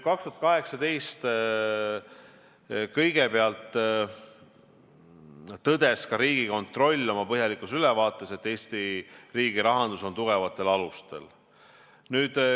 2018 tõdes ka Riigikontroll oma põhjalikus ülevaates, et Eesti riigirahandus on tugevatel alustel.